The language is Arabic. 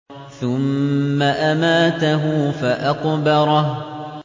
ثُمَّ أَمَاتَهُ فَأَقْبَرَهُ